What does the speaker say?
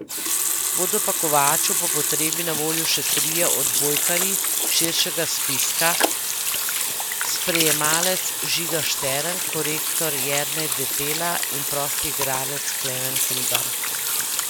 Bodo pa Kovaču po potrebi na voljo še trije odbojkarji s širšega spiska, sprejemalec Žiga Štern, korektor Jernej Detela in prosti igralec Klemen Hribar.